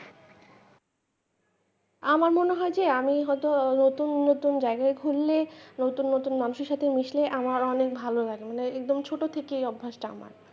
আমার মনে হয় যে আমি হয়তো নতুন নতুন জায়গায় ঘুরলে নতুন নতুন মানুষের সাথে মিশলে আমার অনেক ভালো লাগে মানে একদম ছোট থেকেই এই অভ্যাসটা আমার।